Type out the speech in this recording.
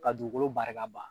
Ka dugukolo barika ma